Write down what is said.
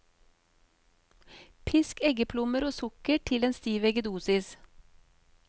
Pisk eggeplommer og sukker til en stiv eggedosis.